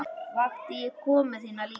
Vakti ég konu þína líka?